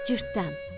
Cırtdan.